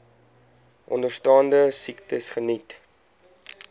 onderstaande siektes geniet